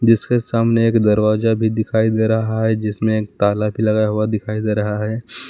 जिसके सामने एक दरवाजा भी दिखाई दे रहा है जिसमें एक ताला भी लगा हुआ दिखाई दे रहा है।